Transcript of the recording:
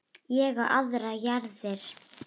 Ég á aðrar jarðir.